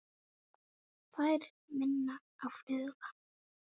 Þær minna á fugla.